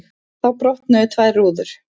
Þá brotnuðu tvær rúður.